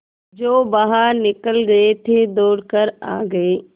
जो बाहर निकल गये थे दौड़ कर आ गये